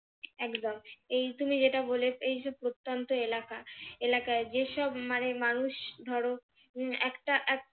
একদম এই তুমি যেটা বলেছ এই যে প্রত্যন্ত এলাকা এলাকায় যেসব মানে মানুষ ধরো উম একটা